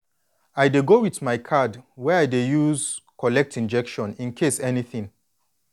i dey go with my card wey i dey use collect injection incase anything